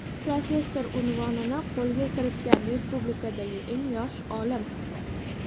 professor unvonini qo‘lga kiritgan respublikadagi eng yosh olim.